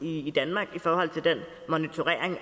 i danmark i forhold til den monitorering